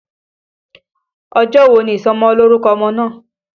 Ọjọ́ wo ni ìsọmọlórúkọ ọmọ náà?